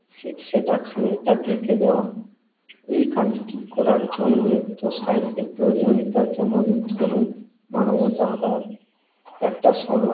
সেটা খানিকটা গেঁথে দেওয়া। এই কাজটি করার জন্যই তো সাহিত্যের প্রয়োজনীয়তা। যেমন ধরুন, মানবতাবাদ একটা সময়ে